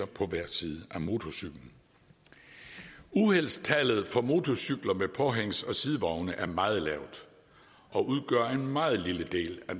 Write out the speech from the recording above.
på hver side af motorcyklen uheldstallet for motorcykler med påhængs og sidevogne er meget lavt og udgør en meget lille del af